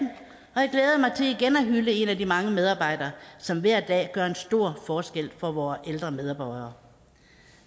hylde en af de mange medarbejdere som hver dag gør en stor forskel for vore ældre medborgere